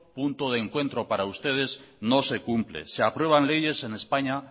punto de encuentro para ustedes no se cumple se aprueban leyes en españa